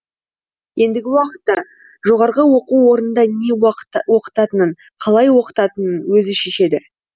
ендігі уақытта жоғарғы оқу орнында не оқытатынын қалай оқытатынын өзі шешеді